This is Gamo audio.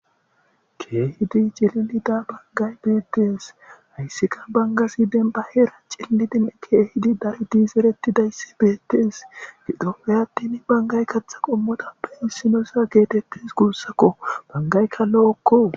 keehidi cililida bangay beettes hayssika banga si denba heera cillidine keehidi dayidiseretidayssi beettees gidoheyattin bangay katha qommoda be hissinosa geetettes guussakko bangaykka lo7okko